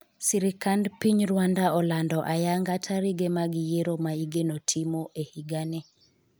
sirikand piny Rwanda olando ayanga tarige mag yiero ma igeno timo e higani